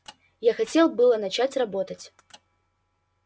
я хотел было начать работать